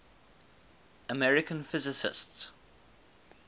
american physicists